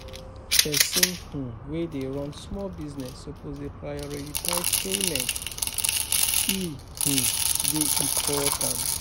Pesin[um] wey dey run small business suppose dey prioritize payments, e [um]dey important.